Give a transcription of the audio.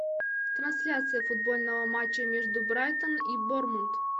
трансляция футбольного матча между брайтон и борнмут